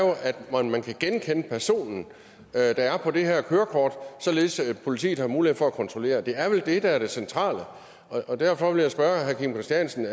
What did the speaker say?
at man kan genkende personen der er på det her kørekort således at politiet har mulighed for at kontrollere det det er vel det der er det centrale og derfor vil jeg spørge herre kim christiansen